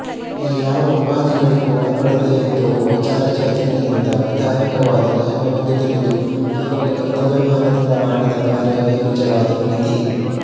ಈ ಯಾವ ಉಪಾಧಿಗಳಿಗೂ ಒಳಪಡದೆ ಇದ್ದು ವಿಚಾರಚೈತನ್ಯದಿಂದ ವಿಧಾಯಕವಾದ ನಿಯಮವೆಂದು ತಿಳಿದು ಕೇವಲ ಕರ್ತವ್ಯಭಾರದಿಂದ ಮಾಡಿದ ಕಾರ್ಯವೇ ನಿಜವಾದ ನೀತಿ